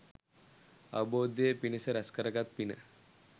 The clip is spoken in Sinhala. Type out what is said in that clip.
අවබෝධය පිණිස රැස් කරගත් පින